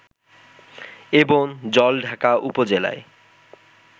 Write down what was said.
এবং জলঢাকা উপজেলায়